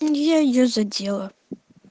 и я её задела